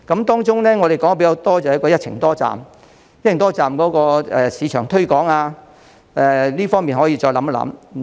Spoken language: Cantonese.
當中，我們較多提出的是一程多站，在一程多站的市場推廣方面可以再加考慮。